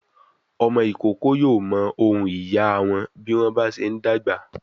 Ọmọ ìkókó yóò mọ ohùn ìyá a wọn bí wọ́n bá ṣe ń dàgbà.